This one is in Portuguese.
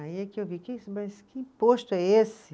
Aí é que eu vi, mas que imposto é esse?